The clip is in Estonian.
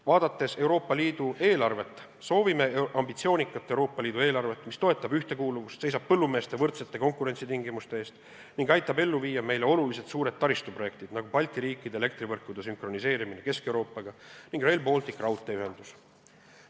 Vaadates Euroopa Liidu eelarvet, soovime ambitsioonikat Euroopa Liidu eelarvet, mis toetab ühtekuuluvust, seisab põllumeeste võrdsete konkurentsitingimuste eest ning aitab ellu viia meile olulised suured taristuprojektid, nagu Balti riikide elektrivõrkude sünkroniseerimine Kesk-Euroopaga ning Rail Balticu raudteeühendus.